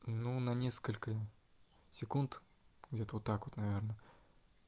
ну на несколько секунд где-то вот так вот наверное